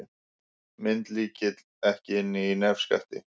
Myndlykill ekki inni í nefskatti